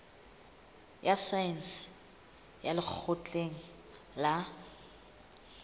ya saense ya lekgotleng la